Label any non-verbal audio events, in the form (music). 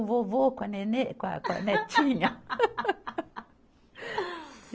O vovô com a nenê, com a, com a netinha. (laughs)